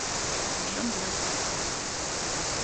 джо блэк